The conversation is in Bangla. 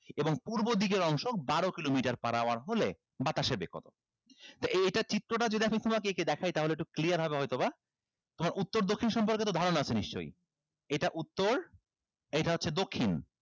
এবং পূর্ব দিকের অংশ বারো kilometer per hour হলে বাতাসের বেগ কত তো এইটা চিত্রটা যদি আমি তোমাকে একে দেখাই তাহলে একটু clear হবে হয়তোবা তোমার উত্তর দক্ষিণ সম্পর্কে তো ধারণা আছে নিশ্চই এইটা উত্তর এইটা হচ্ছে দক্ষিণ